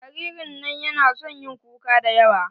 Jaririn nan na son yin kuka da yawa.